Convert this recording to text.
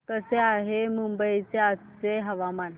कसे आहे मुंबई चे आजचे हवामान